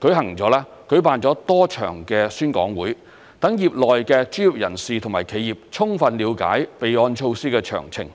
舉辦了多場宣講會，讓業內的專業人士和企業充分了解備案措施的詳情。